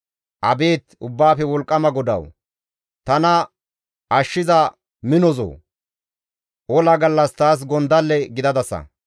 Abeet Ubbaafe Wolqqama GODAWU! tana ashshiza minozoo! ola gallas taas gondalle gidadasa!